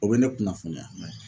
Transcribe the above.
O bɛ ne kunnafoniya.